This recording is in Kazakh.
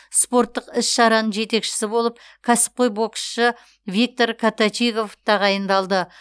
спорттық іс шараның жетекшісі болып кәсіпқой боксшы виктор коточигов тағайындалды